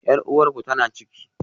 Yar uwarku tana ciki?